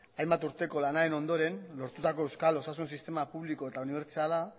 hainbat urteko lanaren ondoren lortutako euskal osasun sistema publiko eta unibertsala